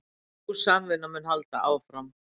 Sú samvinna mun halda áfram